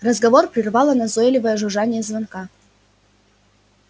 разговор прервало назойливое жужжание звонка